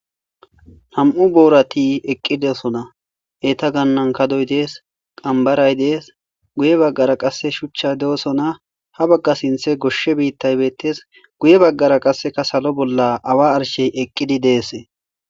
Nam7u boorati eqqidesona eta gannan kadoy dees qambaray dees guye baggara qasse shuchcha de7osona ha bagga sinthe goshshe biittay bettes guye baggara qasseka salo bolla awa arshey eqqidi deese